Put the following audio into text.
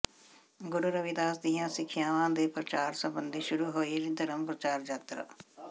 ਗੁਰੂ ਰਵਿਦਾਸ ਦੀਆਂ ਸਿੱਖਿਆਵਾਂ ਦੇ ਪ੍ਰਚਾਰ ਸਬੰਧੀ ਸ਼ੁਰੂ ਹੋਈ ਧਰਮ ਪ੍ਰਚਾਰ ਯਾਤਰਾ